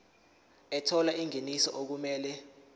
ethola ingeniso okumele